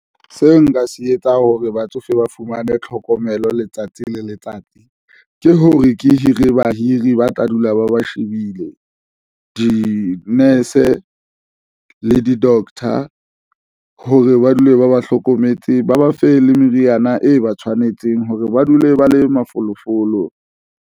Seo nka se etsang hore batsofe ba fumane tlhokomelo. Letsatsi le letsatsi ke hore ke hire bahiri ba tla dula ba shebile di-nurse le doctor hore ba dule, ba ba hlokometse, ba ba fe le meriana e ba tshwanetseng hore ba dule ba le mafolofolo.